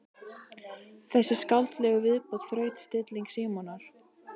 Við þessa skáldlegu viðbót þraut stilling Símonar.